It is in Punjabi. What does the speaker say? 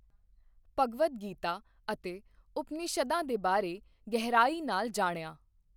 ਭਗਵਦ ਗੀਤਾ ਅਤੇ ਉਪਨਿਸ਼ਦਾਂ ਦੇ ਬਾਰੇ ਗਹਿਰਾਈ ਨਾਲ ਜਾਣਿਆ।